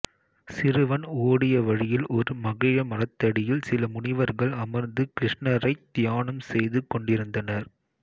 சிறுவன் ஓடிய வழியில் ஒரு மகிழ மரத்தடியில் சில முனிவர்கள் அமர்ந்து கிருஷ்ணரைத் தியானம் செய்துகொண்டிருந்தனர்